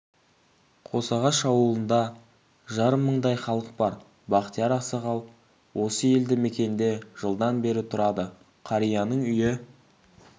қосағаш ауылында жарым мыңдай халық бар бақтияр ақсақал осы елді мекенде жылдан бері тұрады қарияның үйі